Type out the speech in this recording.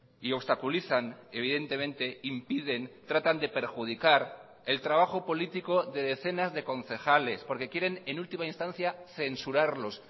y obstaculizan evidentemente impiden tratan de perjudicar el trabajo político de decenas de concejales porque quieren en última instancia censurarlos